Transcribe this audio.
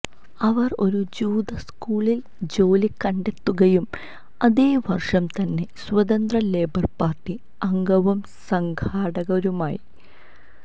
അവർ ഒരു ജൂത സ്കൂളിൽ ജോലി കണ്ടെത്തുകയും അതേ വർഷം തന്നെ സ്വതന്ത്ര ലേബർ പാർട്ടി അംഗവും സംഘാടകയുമായി